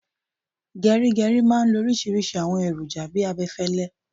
Gerigeri máa ń lo oríṣiríṣi àwọn èròjà bi abẹfẹlẹ